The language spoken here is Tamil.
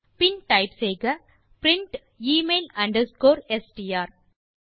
பின் டைப் செய்க பிரின்ட் எமெயில் அண்டர்ஸ்கோர் எஸ்டிஆர்